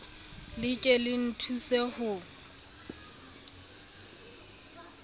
le ke le nthuse ho